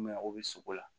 Mɛ o bɛ sogo la